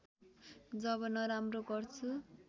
जब नराम्रो गर्छु